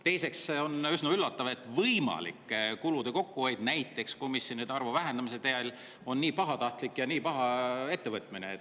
Teiseks, on üsna üllatav, et võimalik kulude kokkuhoid näiteks komisjonide arvu vähendamisest, on pahatahtlik ja halb ettevõtmine.